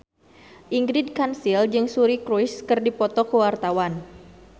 Ingrid Kansil jeung Suri Cruise keur dipoto ku wartawan